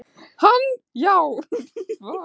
Hann já.